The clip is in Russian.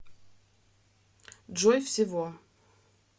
джой всего